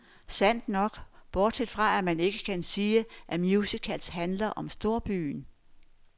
Sandt nok, bortset fra, at man ikke kan sige, at musicals handler om storbyen.